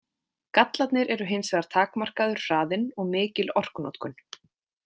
Gallarnir eru hins vegar takmarkaður hraðinn og mikil orkunotkun.